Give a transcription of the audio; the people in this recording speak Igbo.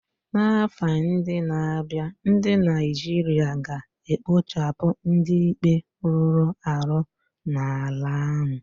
N'afọ ndị na-abịa, ndị Naijiria ga-ekpochapụ ndị ikpe rụrụ arụ n'ala ahụ.